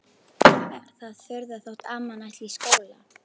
Er það furða þótt amman ætli í skóla?